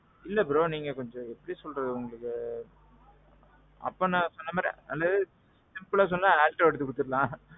இல்ல ப்ரோ நீங்க வந்து எப்பிடி சொல்றது உங்களுக்கு. அப்பா நான் சொன்ன மாதிரி simpleஅ சொல்லனும்னா Activa எடுத்து குடுத்துறலாம்.